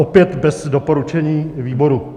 Opět bez doporučení výboru.